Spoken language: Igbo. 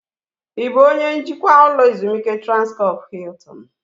Ị bụ onye njikwa ụlọ ezumike Transkọp Hiltin?